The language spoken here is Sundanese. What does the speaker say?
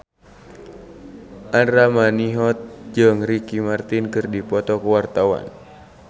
Andra Manihot jeung Ricky Martin keur dipoto ku wartawan